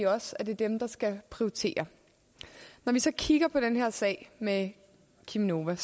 også at det er dem der skal prioritere når vi så kigger på den her sag med cheminova